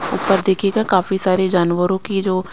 ऊपर देखिएगा काफी सारे जानवरों की ये जो --